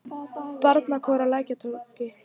Barnakór á Lækjartorgi.